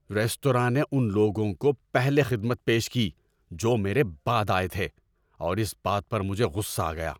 ‏Restaurant نے ان لوگوں کو پہلے خدمت پیش کی جو میرے بعد آئے تھے اور اس بات پر مجھے غصہ آ گیا۔